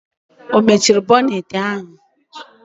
Ọ mechiri bọnetị ahụ?